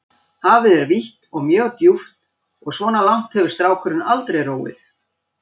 Hafið er vítt og mjög djúpt og svona langt hefur strákurinn aldrei róið.